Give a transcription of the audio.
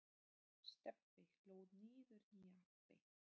Stebbi hlóð niður nýju appi.